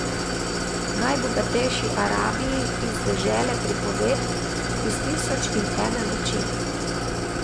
V najbogatejši Arabiji iz dežele pripovedk iz Tisoč in ene noči.